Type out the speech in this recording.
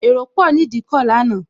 Èrò pò ni Ìdíkọ̀ lánàá